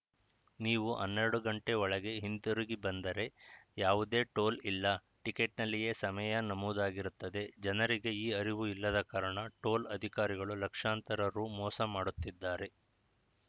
ನೀವು ಹನ್ನೆರಡು ಗಂಟೆ ಒಳಗೆ ಹಿಂದಿರುಗಿ ಬಂದರೆ ಯಾವುದೇ ಟೋಲ್‌ ಇಲ್ಲ ಟಿಕೆಟ್‌ನಲ್ಲಿಯೇ ಸಮಯ ನಮೂದಾಗಿರುತ್ತದೆ ಜನರಿಗೆ ಈ ಅರಿವು ಇಲ್ಲದ ಕಾರಣ ಟೋಲ್‌ ಅಧಿಕಾರಿಗಳು ಲಕ್ಷಾಂತರ ರು ಮೋಸ ಮಾಡುತ್ತಿದ್ದಾರೆ